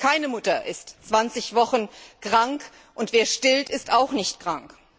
Keine Mutter ist 20 Wochen krank, und wer stillt, ist auch nicht krank.